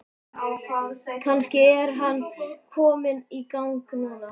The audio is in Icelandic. Kannski er hann kominn í gang núna?